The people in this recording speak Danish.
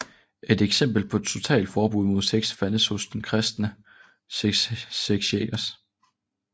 Et eksempel på totalforbud mod sex fandtes hos den kristne sekt shakers